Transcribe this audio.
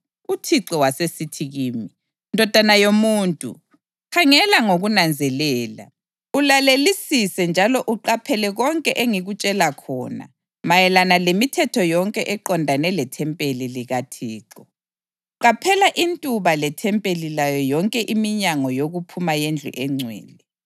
UThixo wasesithi kimi, “Ndodana yomuntu, khangela ngokunanzelela, ulalelisise njalo uqaphele konke engikutshela khona mayelana lemithetho yonke eqondane lethempeli likaThixo. Qaphela intuba lethempeli layo yonke iminyango yokuphuma yendlu engcwele.